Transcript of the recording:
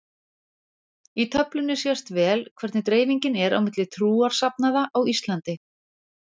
Í töflunni sést vel hvernig dreifingin er milli trúarsafnaða á Íslandi.